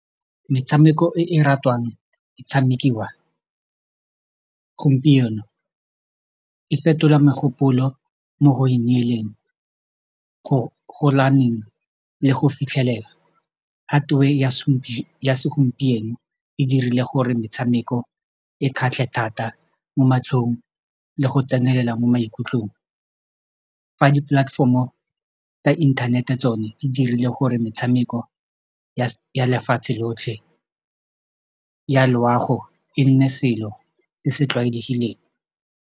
Metshameko e e ratwang go tshamekiwa gompieno e fetola megopolo mo go ineeleng le go fitlhelela hardware ya segompieno e dirile gore metshameko e kgatlhe thata mo matlhong le go tsenelela mo maikutlong fa di-platform-o tsa inthanete tsone di dirile gore metshameko ya lefatshe lotlhe ya loago e nne selo se se tlwaelegileng.